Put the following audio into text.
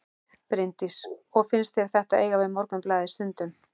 Bryndís: Og finnst þér þetta eiga við Morgunblaðið stundum?